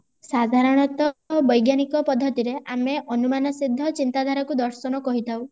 ସାଧାରଣତଃ ବୈଜ୍ଞାନିକ ପଦ୍ଧତି ରେ ଆମେ ଅନୁମାନ ସିଦ୍ଧ ଚିନ୍ତାଧାରାକୁ ଦର୍ଶନ କହିଥାଉ